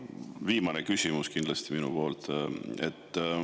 Viimane küsimus minult.